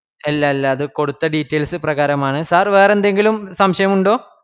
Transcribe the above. ഇല്ല ഇല്ല അത് കൊടുത്ത details പ്രകാരമാണ്. sir വേറെന്തെങ്കിലും സംശയമുണ്ടോ